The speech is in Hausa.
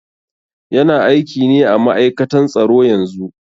Yana aiki ne à ma'aikatan tsaro yanzu.